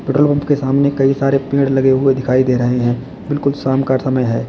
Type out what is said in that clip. Petrol pump के सामने कई सारे पेड़ लगे हुए दिखाई दे रहे हैं बिल्कुल शाम का समय है।